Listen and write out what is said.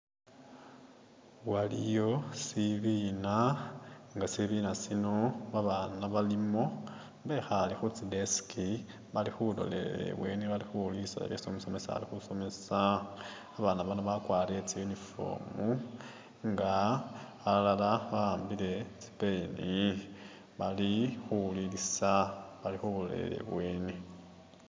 Waliyo sibiina nga sibiina sino babaana balimo bekhaale khutsi desk bali khulolelela i'bweeni bali khu wulilisa byesi umusomesa ali khusomemesa. Abaana bano bagwarile tsi uniform nga balala bahambile tsipen bali khu wulilisa bali khulolelela i'bweeni.